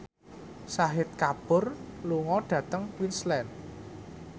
Shahid Kapoor lunga dhateng Queensland